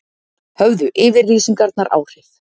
Höfðu yfirlýsingarnar áhrif